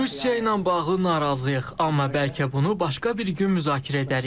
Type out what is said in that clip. Rusiya ilə bağlı narazıyıq, amma bəlkə bunu başqa bir gün müzakirə edərik.